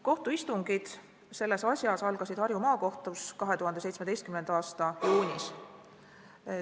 Kohtuistungid selles asjas algasid Harju Maakohtus 2017. aasta juunis.